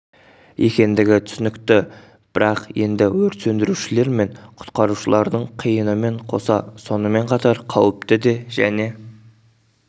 екендігі түсінікті бірақ енді өрт сөндірушілер мен құтқарушылардың қиынымен қоса сонымен қатар қауіпті де және